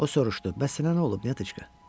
O soruşdu: Bəs sənə nə olub, Natişka?